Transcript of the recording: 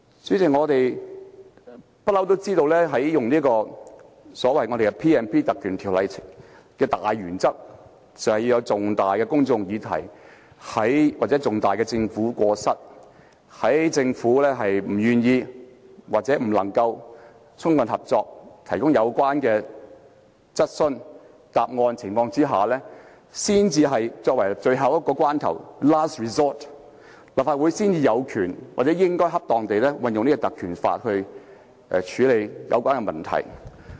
主席，我們一向知道運用賦予立法會權力及特權的條文的大原則，就是涉及重大的公眾議題或重大的政府過失，在政府不願意或未能充分合作地提供有關質詢的答案的情況下，在最後關頭，立法會才有權或應該恰當地運用立法會的權力和特權來處理有關問題。